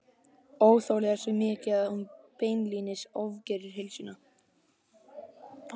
Óþolið er svo mikið að hún beinlínis ofgerir heilsunni.